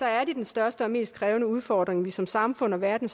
er det den største og mest krævende udfordring vi som samfund og verden